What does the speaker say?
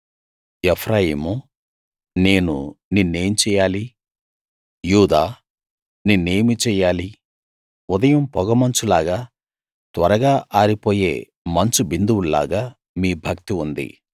ఎఫ్రాయిమూ నేను నిన్నేం చేయాలి యూదా నిన్నేమి చెయ్యాలి ఉదయం పొగమంచు లాగా త్వరగా ఆరిపోయే మంచు బిందువుల్లాగా మీ భక్తి ఉంది